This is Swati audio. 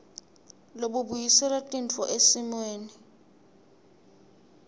lobubuyisela tintfo esimeni